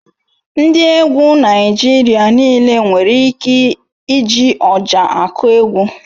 Ndị egwu Naịjirịa nịle nwere ike iji Ọjà akụ egwu